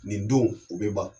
Nin don u bɛ ban.